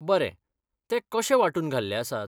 बरें, ते कशे वांटून घाल्ले आसात?